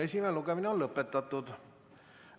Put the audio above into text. Esimene lugemine on lõpetatud.